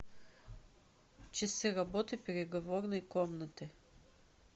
часы работы переговорной комнаты